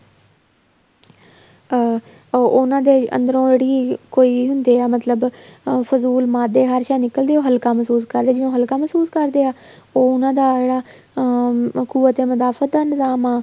ਅਹ ਉਹਨਾ ਦੇ ਅੰਦਰੋ ਜਿਹੜੀ ਕੋਈ ਹੁੰਦੇ ਆ ਮਤਲਬ ਫਜੂਲ ਮਾਦੇ ਹਰ੍ਸ਼ਾ ਨਿੱਕਲ ਦੀ ਆ ਉਹ ਹੱਲਕਾ ਮਹਿਸੂਸ ਕਰਦੇ ਆ ਜਿਵੇਂ ਉਹ ਹੱਲਕਾ ਮਹਿਸੂਸ ਕਰਦੇ ਆ ਉਹ ਉਹਨਾ ਦਾ ਜਿਹੜਾ ਅਹ